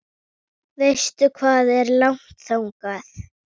Veistu hvað er langt þangað?